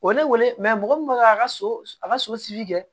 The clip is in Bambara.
O ye ne wele mɔgɔ min bɛ k'a ka so a ka so kɛ